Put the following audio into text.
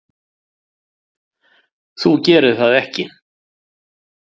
Þú gerir það ekki.